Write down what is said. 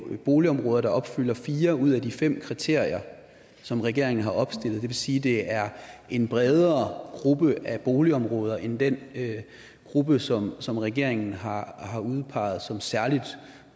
boligområder der opfylder fire ud af de fem kriterier som regeringen har opstillet det vil sige at det er en bredere gruppe af boligområder end den gruppe som som regeringen har har udpeget som særlig